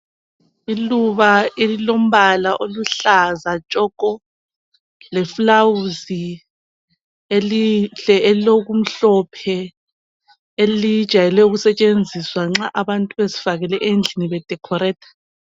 Iluba elimbala oluhlaza tshoko leflawuzi elihle elilokumhlophe elijayele ukusetshenziswa nxa abantu befakile endlini bececisile